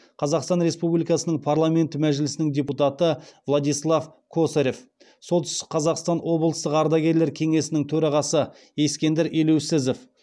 қазақстан республикасының парламенті мәжілісінің депутаты владислав косарев солтүстік қазақстан облыстық ардагерлер кеңесінің төрағасы ескендір елеусізов